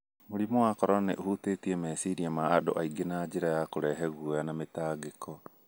Mũrimũ wa Corona nĩ ũhĩtũkĩtie meciria ma andũ aingĩ na njĩra ya kũrehe guoya na mĩtangĩko.